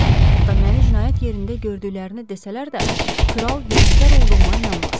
Hətta məni cinayət yerində gördüklərini desələr də, kral günahkar olduğuma inanmaz.